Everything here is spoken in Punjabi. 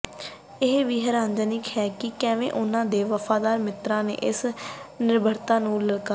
ਇਹ ਵੀ ਹੈਰਾਨੀਜਨਕ ਹੈ ਕਿ ਕਿਵੇਂ ਉਨ੍ਹਾਂ ਦੇ ਵਫ਼ਾਦਾਰ ਮਿੱਤਰਾਂ ਨੇ ਇਸ ਨਿਰਭਰਤਾ ਨੂੰ ਲਲਕਾਰਿਆ